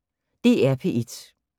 DR P1